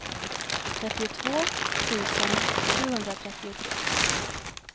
trettiotvå tusen sjuhundratrettiotre